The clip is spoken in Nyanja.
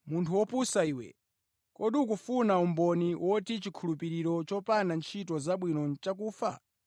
Munthu wopusa iwe, kodi ukufuna umboni woti chikhulupiriro chopanda ntchito zabwino nʼchakufa?